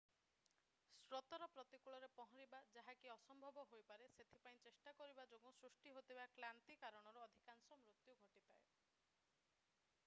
ସ୍ରୋତର ପ୍ରତିକୂଳରେ ପହଁରିବା ଯାହା କି ଅସମ୍ଭବ ହୋଇପାରେ ସେଥିପାଇଁ ଚେଷ୍ଟା କରିବା ଯୋଗୁଁ ସୃଷ୍ଟି ହେଉଥିବା କ୍ଳାନ୍ତି କାରଣରୁ ଅଧିକାଂଶ ମୃତ୍ୟୁ ଘଟିଥାଏ